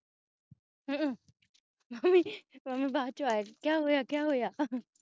ਹਉ mummy mummy ਬਾਅਦ ਚੋਂ ਆਈ ਸੀ ਕਿਆ ਹੋਇਆ ਕਿਆ ਹੋਇਆ